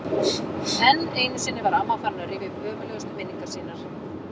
Enn einu sinni var amma farin að rifja upp ömurlegustu minningar sínar.